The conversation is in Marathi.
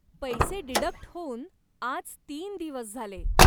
पैसे डिडक्ट होऊन आज तीन दिवस झाले.